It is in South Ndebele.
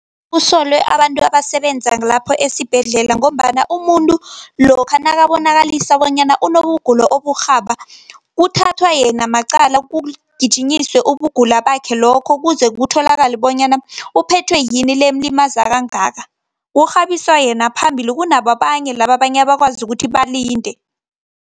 Kusolwe abantu abasebenza lapho esibhedlela, ngombana umuntu lokha nakabonakalisa bonyana unobugula oburhaba kuthathwa yena maqala kugijinyiswe ubugula bakhe lokho, kuze kutholakale bonyana uphethwe yini le emlimaza kangaka. Kurhabiswa yena phambili kunabo abanye laba abanye abakwazi ukuthi balinde.